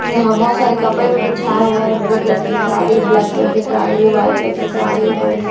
यहाँ बहुत सारे कपड़े भी बिछाए हुए है ब्लू कलर की साड़ी ब्लैक कलर की साड़ी वाइट कलर की साड़ी ऑरेंज --